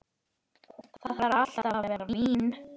Þarf alltaf að vera vín!